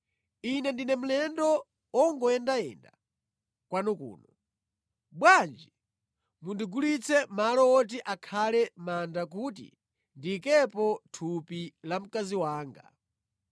“Ine ndine mlendo wongoyendayenda kwanu kuno. Bwanji mundigulitse malo woti akhale manda kuti ndiyikepo thupi la mkazi wanga.”